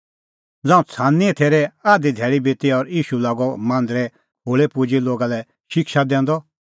ज़ांऊं छ़ानींए थैरे आधी धैल़ी बिती और ईशू लागअ मांदरे खोल़ै पुजी लोगा लै शिक्षा दैंदअ